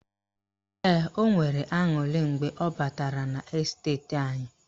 Ee, o nwere aṅurị mgbe ọ batara n' esteti anyị